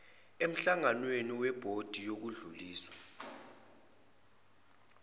emhlanganweni webhodi yokudlulisa